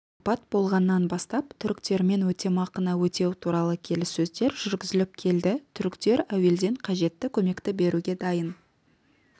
апат болғаннан бастап түріктермен өтемақыны өтеу туралы келіссөздер жүргізіліп келді түріктер әуелден қажетті көмекті беруге дайын